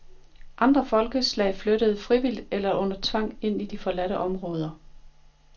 Andre folkeslag flyttede, frivilligt eller under tvang, ind i de forladte områder.